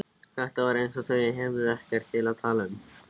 Það var eins og þau hefðu ekkert til að tala um.